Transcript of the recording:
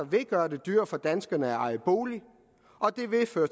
vil gøre det dyrere for danskerne at eje bolig og det vil føre